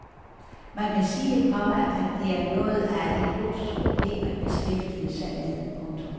Man kan sige, komma at det er noget af et luksusproblem at beskæftige sig med. punktum